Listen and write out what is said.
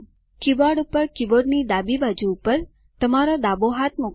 keyboard પર keyboard ડાબી બાજુ પર તમારો ડાબા હાથમાં મૂકો